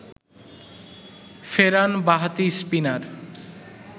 ফেরান বাঁহাতি স্পিনার